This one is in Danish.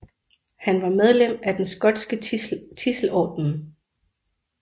Han var medlem af den skotske Tidselordenen